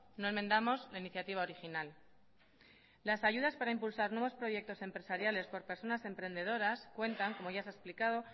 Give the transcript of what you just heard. no enmendamos la iniciativa original las ayudas para impulsar nuevos proyectos empresariales por personas emprendedoras cuentan como ya se ha explicado